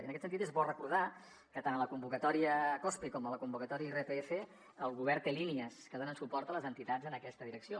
i en aquest sentit és bo recordar que tant a la convocatòria cospe com a la convocatòria irpf el govern té línies que donen suport a les entitats en aquesta direcció